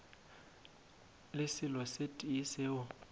le selo se tee seo